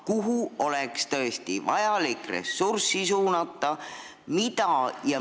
Kuhu oleks tõesti vaja ressursse suunata?